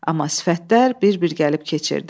Amma sifətlər bir-bir gəlib keçirdi.